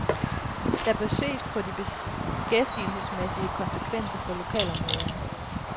Der bør ses på de beskæftigelsesmæssige konsekvenser for lokalområderne.